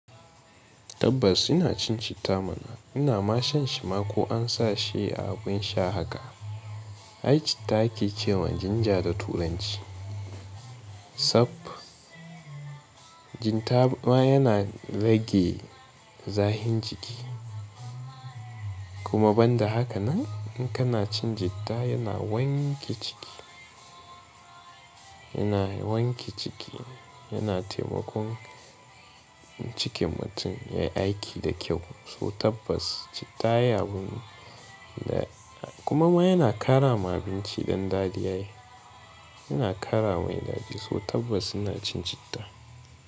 Tabbas ina cin citta mana. Ina ma shan shi ma ko an sa shi a abin sha haka. Ai citta ake cewa jinja da turanci. Sapp, citta ma yana rage zahin jiki. Kuma banda haka nan in kana cin citta yana wanke ciki, yana wanke ciki, yana taimakon cikin mutum ya yi aiki da kyau. So tabbas citta yayi abun da kuma ma yana ƙara ma abinci ɗan daɗi ai. Yana ƙara mai daɗa so tabbas ina cin citta.